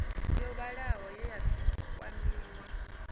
yo vhalaho ye ya kwamiwa